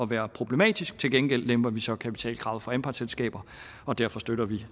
være problematisk til gengæld lemper vi så kapitalkravet for anpartsselskaber og derfor støtter vi